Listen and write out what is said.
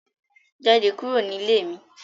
Jade kuro ni ile mi